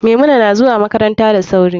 Maimuna nazuwa makaranta da sauri.